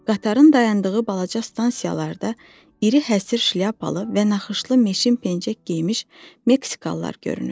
Qatarın dayandığı balaca stansiyalarda iri həsır şlyapalı və naxışlı meşin pencək geymiş meksikalılar görünürdü.